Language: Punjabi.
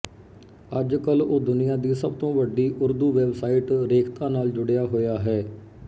ਅੱਜਕੱਲ ਉਹ ਦੁਨੀਆ ਦੀ ਸਭ ਤੋਂ ਵੱਡੀ ਉਰਦੂ ਵੈੱਬਸਾਈਟ ਰੇਖਤਾ ਨਾਲ ਜੁੜਿਆ ਹੋਇਆ ਹੈ